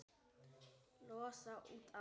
Losa út allt.